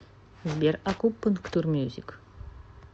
сбер акупунктур мьюзик